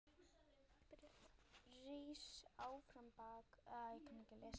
Rís árbakki fljóti hjá.